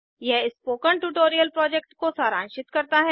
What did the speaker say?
यह spoken tutorial project को सारांशित करता है